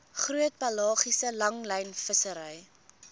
groot pelagiese langlynvissery